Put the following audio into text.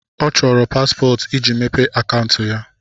Ọ chọrọ paspọtụ iji mepee akaụntụ ya.